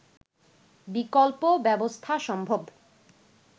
বিকল্প ব্যবস্থা সম্ভব